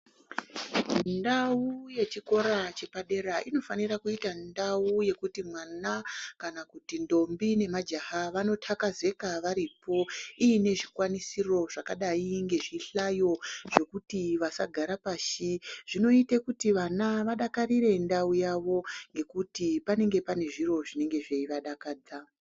Ndau yechikora chepadera inofanira kuita ndau yekuti mwana ,kana kuti ndombi nemajaha vanothakazeka varipo, iine zvikwanisiro zvakadai ngezvihlayo zvokuti vasagara pashi. Zvinoite kuti vana vadakarire ndau yavo, ngekuti panenge pane zviro zvinenge zveivadakadza .